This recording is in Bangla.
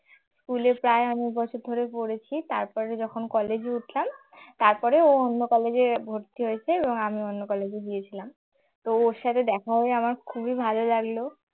school এ প্রায় অনেক বছর ধরে পড়েছি তারপরে যখন college এ উঠলাম তারপরে ও অন্য college এ ভর্তি হয়েছে এবং আমি অন্য college এ গিয়েছিলাম তো ওর সাথে দেখা হয়ে আমার খুবই ভালো লাগলো।